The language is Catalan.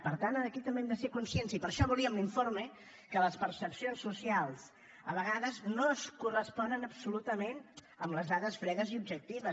per tant aquí també hem de ser conscients i per això volíem l’informe que les percepcions socials a vegades no es corresponen absolutament amb les dades fredes i objectives